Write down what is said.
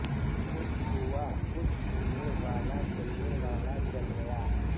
خوش ہوا خوش ہونے والا جلنے والا جل گیا